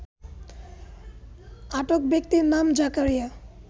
আটক ব্যক্তির নাম জাকারিয়া